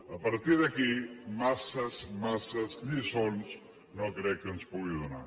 a partir d’aquí massa massa lliçons no crec que ens en pugi donar